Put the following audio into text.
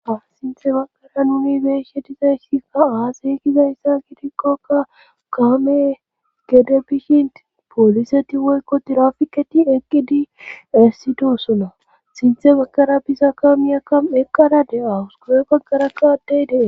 Asinthe baqara nuni beeshe dizayssika aaseykizayssa gidikkoka kaame gede bishin pooliseti woykko tirafiketi eqqidi essitosona sinthe bakara bisa ka miyaka eqqaradewawus gure bagara kawadeydee